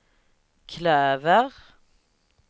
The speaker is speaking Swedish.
klöver